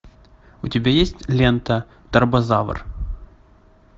у тебя есть лента тарбозавр